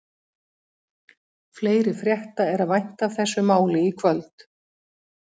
Breiðafjörðurinn er helsta varpsvæði arnarins.